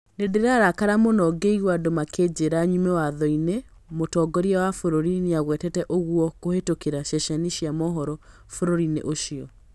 Nĩndĩrarakara mũno ngĩigua andũ makĩnjĩra nyume watho-ini mũtongoria wa bũrũri nĩagwetete ũguo kũhetũkĩra ceceni cia mohoro bũrũri-inĩ ũcio